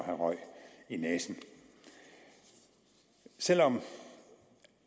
have røg i næsen selv om